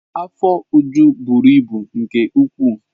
Afọ Uju buru ibu nke ukwuu.